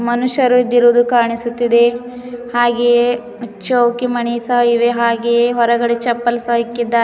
ಮನುಷ್ಯರು ಇದ್ದಿರುವುದು ಕಾಣಿಸುತ್ತಿದೆ ಹಾಗೆಯೇ ಚೌಕಿ ಮಣಿ ಸಹ ಇವೆ ಹಾಗೆ ಹೊರಗಡೆ ಚಪ್ಪಲ್ ಸಹ ಇಕ್ಕಿದಾ.